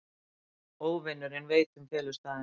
Óvinurinn veit um felustaðinn.